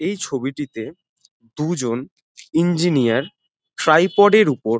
এই ছবিটিতে দুজন ইঞ্জিনিয়ার ট্রাইপড -এর উপর --